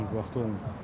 Yox, olmur bu vaxtlarda.